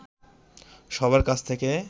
সবার কাছ থেকে